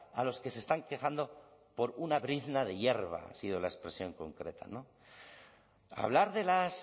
a los que se están quejando por una brizna de hierba ha sido la expresión concreta hablar de las